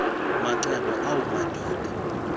macebo awu madoda